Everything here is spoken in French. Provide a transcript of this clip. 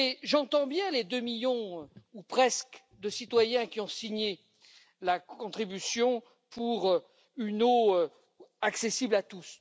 J'entends bien les deux millions ou presque de citoyens qui ont signé la contribution pour une eau accessible à tous.